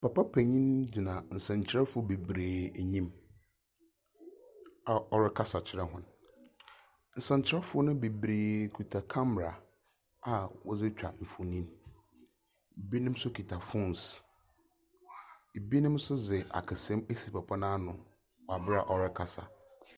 Papa panyin gyina nsɛmtwerɛfo bebree anim a ɔrekasa kyerɛ wɔn. Nsɛmtwerɛfo no beberee kita kamara a wɔde twa mfoni. Ebinom nso kita fones. Ebinom nso de akasamu esi papa no ano wɔ abre a ɔrekasa.